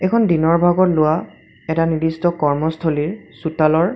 এইখন দিনৰ ভাগত লোৱা এটা নিৰ্দিষ্ট কৰ্মস্থলীৰ চোতালৰ--